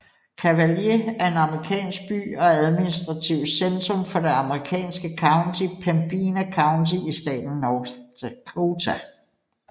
Cavalier er en amerikansk by og administrativt centrum for det amerikanske county Pembina County i staten North Dakota